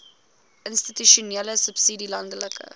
institusionele subsidie landelike